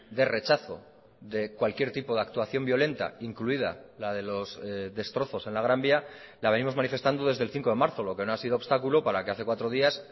de rechazo de cualquier tipo de actuación violenta incluida la de los destrozos en la gran vía la venimos manifestando desde el cinco de marzo lo que no ha sido obstáculo para que hace cuatro días